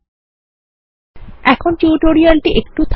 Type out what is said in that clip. এই নিয়োগের জন্য এখানে টিউটোরিয়াল এর বিরাম